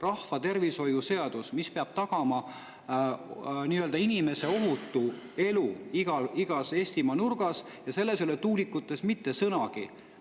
Rahvatervishoiu seaduses, mis peab tagama inimese ohutu elu igas Eestimaa nurgas, ei ole tuulikutest mitte sõnagi.